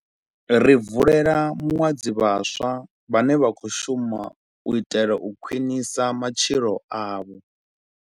Ri bvulela muḽadzi vhaswa vhane vha khou shuma u itela u khwiḽisa matshilo avho.